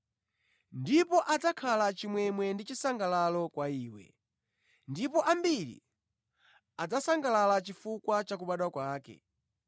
Ndipo adzakhala chimwemwe ndi chisangalalo kwa iwe, ndipo ambiri adzasangalala chifukwa cha kubadwa kwake,